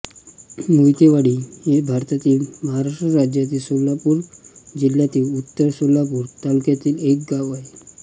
मोहितेवाडी हे भारतातील महाराष्ट्र राज्यातील सोलापूर जिल्ह्यातील उत्तर सोलापूर तालुक्यातील एक गाव आहे